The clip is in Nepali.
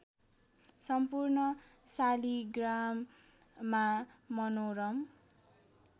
सम्पूर्ण शालिग्राममा मनोरम